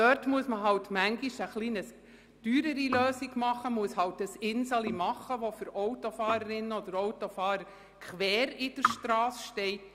So muss manchmal eine etwas teurere Lösung realisiert werden, indem eine Strasseninsel erstellt wird, die für Autofahrerinnen und Autofahrer quer auf der Strasse steht.